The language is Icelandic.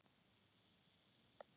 Viljir hvað?